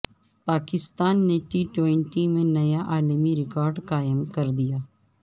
پاکستان نے T twenty میں نیا عالمی ریکارڈقائم کردیا